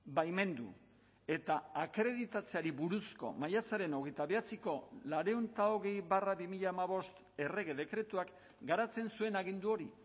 baimendu eta akreditatzeari buruzko maiatzaren hogeita bederatziko laurehun eta hogei barra bi mila hamabost errege dekretuak garatzen zuen agindu hori